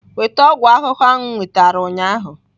Weta ọgwụ ahụhụ ahụ m nwetara ụnyaahụ!